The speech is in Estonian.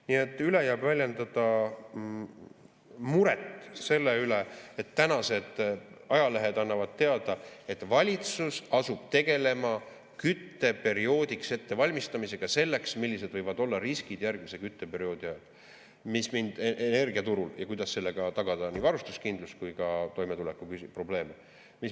Nii et jääb üle väljendada muret selle pärast, et tänased ajalehed annavad teada, et valitsus asub tegelema kütteperioodiks ettevalmistamisega selleks, millised võivad olla riskid järgmise kütteperioodi ajal energiaturul, ja kuidas sellega tagada nii varustuskindlus kui ka toimetulekuprobleeme.